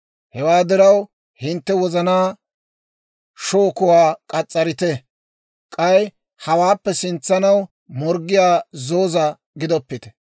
Hewaa diraw, hintte wozanaa shookuwaa k'as's'arite; k'ay hawaappe sintsanaw morggiyaa zooza gidoppite.